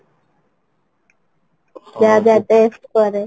ଯା ଯା test କରେ